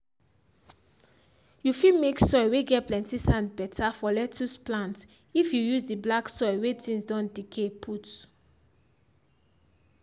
you fit make soil whey get plenty sand better for lettuce plant it you use the black soil whey things don decay put.